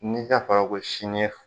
Ne ka faga ka bɔ ye sini